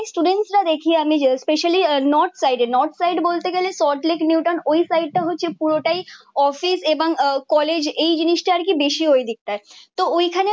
স্টুডেন্টরা দেখি আমি যে স্পেশালি নর্থ সাইডে নট সাইড বলতে গেলে সল্টলেক নিউটন ওই সাইটটা হচ্ছে পুরোটাই অফিস এবং আহ কলেজ এই জিনিসটা আর কি বেশি ওই দিকটায়। তো ওইখানে